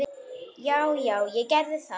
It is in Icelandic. Já já, ég gerði það.